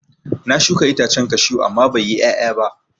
Na shuka itacen kashu amma bai yi ƴaƴa ba.